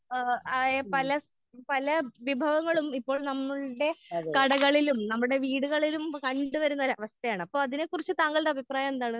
ഏഹ് ആയ പല പല വിഭവങ്ങളും ഇപ്പോ നമ്മളുടെ കടകളിലും നമ്മുടെ വീടുകളിലും കണ്ട് വരുന്ന ഒരവസ്ഥയാണ്. അപ്പൊ അതിനെ കുറിച്ച് താങ്കളുടെ അഭിപ്രായമെന്താണ്?